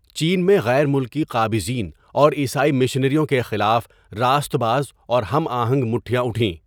چین میں غیر ملکی قابضین اور عیسائی مشنریوں کے خلاف راست باز اور ہم آہنگ مٹھیاں اٹھیں۔